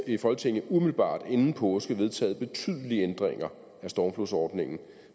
i folketinget umiddelbart inden påske vedtaget betydelige ændringer af stormflodsordningen